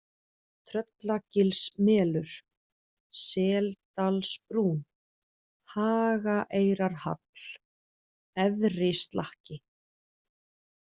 Tröllagilsmelur, Seldalsbrún, Hagaeyrarhall, Efrislakki